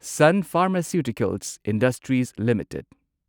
sun Pharmaceuticals Industries limited